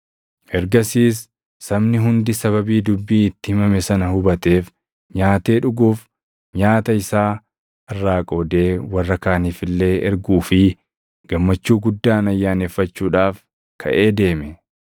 Ergasiis sabni hundi sababii dubbii itti himame sana hubateef nyaatee dhuguuf, nyaata isaa irraa qoodee warra kaaniif illee erguu fi gammachuu guddaan ayyaaneffachuudhaaf kaʼee deeme.